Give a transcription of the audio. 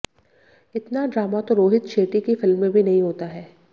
इतना ड्रामा तो रोहित शेट्टी की फिल्म में भी नहीं होता है